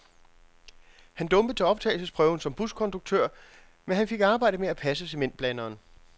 Han dumpede til optagelsesprøven som buskonduktør, men han fik arbejde med at passe cementblanderen.